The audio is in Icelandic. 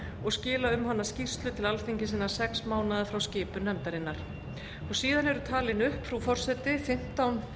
og skila um hana skýrslu til alþingis innan sex mánaða frá skipun nefndarinnar síðan eru talin upp frú forseti fimmtán